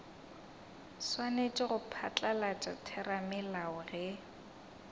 swanetše go phatlalatša theramelao ge